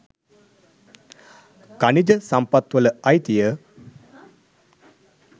ඛනිජ සම්පත්වල අයිතිය